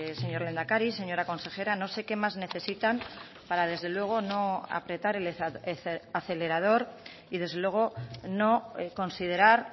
señor lehendakari señora consejera no sé qué más necesitan para desde luego no apretar el acelerador y desde luego no considerar